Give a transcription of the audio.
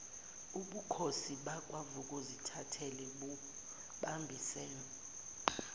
ubukhosi bakwavukuzithathe bubambisene